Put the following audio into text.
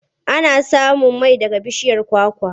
Ana samun mai daga bishiyar kwakwa.